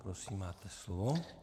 Prosím, máte slovo.